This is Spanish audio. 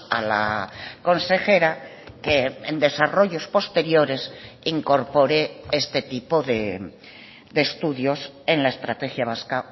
a la consejera que en desarrollos posteriores incorpore este tipo de estudios en la estrategia vasca